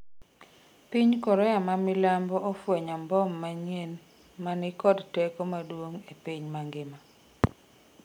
piny Korea ma milambo ofwenyo mbom manyien ma ni kod teko maduong' e piny mangima